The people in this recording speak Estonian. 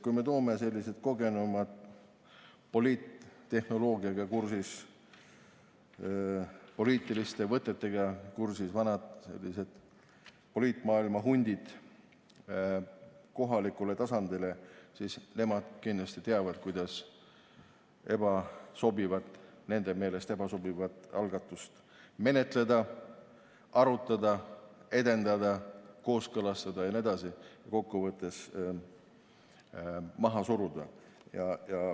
Kui me toome sellised kogenumad, poliittehnoloogiaga, poliitiliste võtetega kursis olevad vanad poliitmaailma hundid kohalikule tasandile, siis nemad kindlasti teavad, kuidas nende meelest ebasobivat algatust menetleda, arutada, edendada, kooskõlastada ja kokkuvõttes maha suruda.